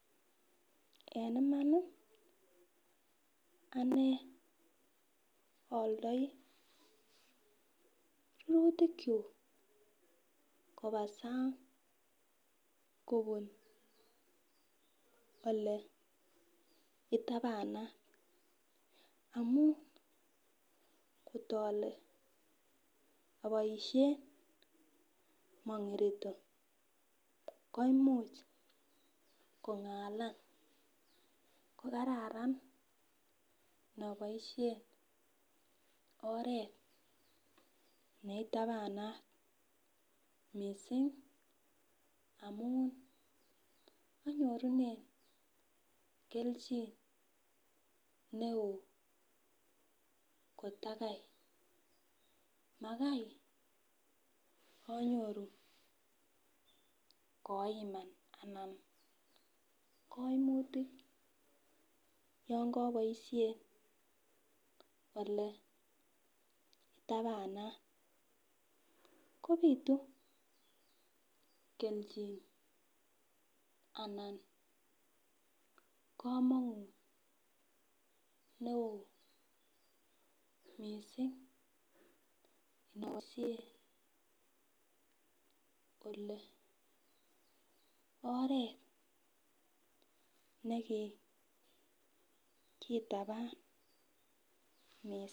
En iman ii anee aaldoi rurutikyuk koba sang kobun oleitabanat, amun ng'ot ale aboisien mong'irito koimuch kong'alan kokararan inoboisien oret neitabanat missing amun anyorunen kelchin ne oo kotakai, makai anyoru koiman anan koimutik yon koboisien ole itabanat ,kobitu kelchin anan kamonut neo missing asir ole oret neki kitaban missing.